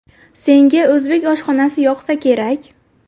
Senga o‘zbek oshxonasi yoqsa kerak?